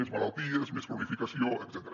més malalties més cronificació etcètera